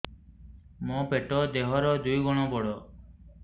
ମୋର ପେଟ ଦେହ ର ଦୁଇ ଗୁଣ ବଡ